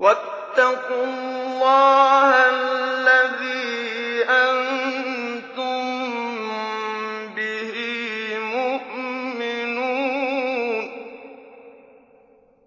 وَاتَّقُوا اللَّهَ الَّذِي أَنتُم بِهِ مُؤْمِنُونَ